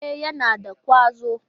E, yana da ƙwazo.